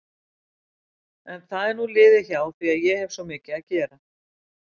En það er nú liðið hjá því ég hefi svo mikið að gera.